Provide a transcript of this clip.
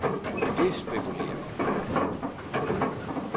Det spekulerer jeg meget på.